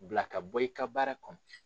bila ka bɔ i ka baara kɔnɔ